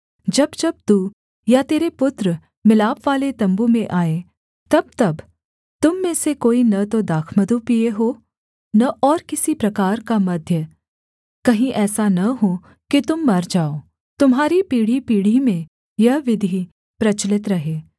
जब जब तू या तेरे पुत्र मिलापवाले तम्बू में आएँ तबतब तुम में से कोई न तो दाखमधु पीए हो न और किसी प्रकार का मद्य कहीं ऐसा न हो कि तुम मर जाओ तुम्हारी पीढ़ीपीढ़ी में यह विधि प्रचलित रहे